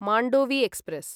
Mandovi express